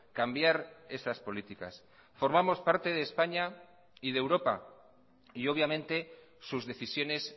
cambiar esas políticas formamos parte de españa y de europa y obviamente sus decisiones